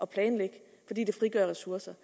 planlægge fordi det frigør ressourcer